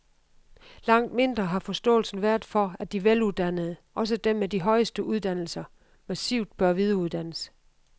Langt mindre har forståelsen været for, at de veluddannede, også dem med de højeste uddannelser, massivt bør videreuddannes.